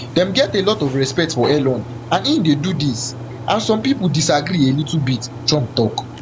dem get a lot of respect for elon and im dey do dis and some pipo disagree a little bit trump tok